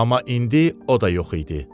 Amma indi o da yox idi.